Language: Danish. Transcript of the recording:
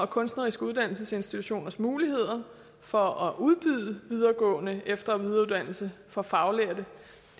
kunstneriske uddannelsesinstitutioners muligheder for at udbyde videregående efter og videreuddannelse for faglærte